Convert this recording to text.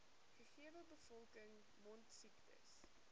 gegewe bevolking mondsiektes